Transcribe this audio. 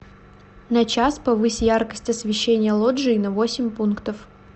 на час повысь яркость освещения лоджии на восемь пунктов